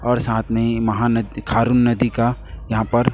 और साथ में महानद खारुन नदी का यहां पर--